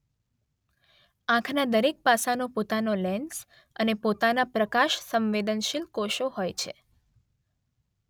આંખનાં દરેક પાસાંનો પોતાનો લેન્સ અને પોતાનાં પ્રકાશસંવેદનશીલ કોષો હોય છે.